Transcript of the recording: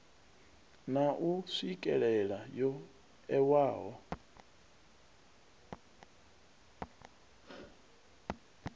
na u swikelela yo ewaho